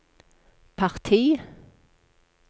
parti